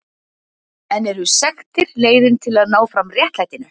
En eru sektir leiðin til þess að ná fram réttlætinu?